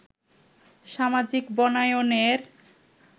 সামাজিক বনায়নের